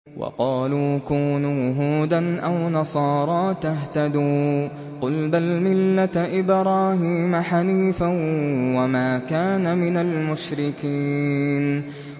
وَقَالُوا كُونُوا هُودًا أَوْ نَصَارَىٰ تَهْتَدُوا ۗ قُلْ بَلْ مِلَّةَ إِبْرَاهِيمَ حَنِيفًا ۖ وَمَا كَانَ مِنَ الْمُشْرِكِينَ